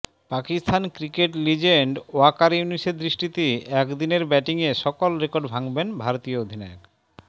Pakistan cricket legend Waqar ইউনিসের দৃষ্টিতে একদিন ব্যাটিংয়ের সকল রেকর্ড ভাঙ্গবেন ভারতীয় অধিনায়ক